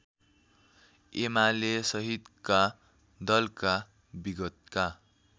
एमालेसहितका दलका विगतका